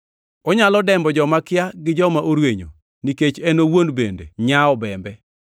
Onyalo dembo joma kia gi joma orwenyo, nikech en owuon bende nyawo obembe.